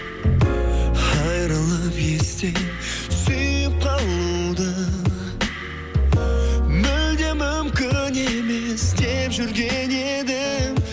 айрылып естен сүйіп қалуды мүлде мүмкін емес деп жүрген едім